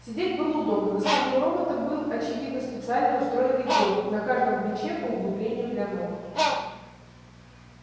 сидеть было удобно на спине у робота был очевидно специально устроенный горб на каждом плече по углублению для ног